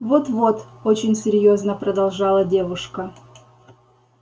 вот-вот очень серьёзно продолжала девушка